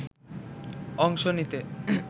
অংশ নিতে